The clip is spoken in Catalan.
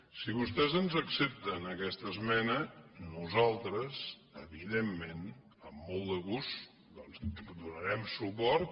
si vostès ens accepten aquesta esmena nosaltres evidentment amb molt de gust doncs hi donarem suport